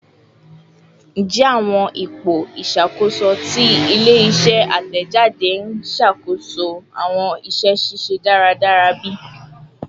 Njẹ awọn ipo iṣakoso ti ile-iṣẹ atẹjade n ṣakoso awọn iṣẹ ṣiṣe daradara bi?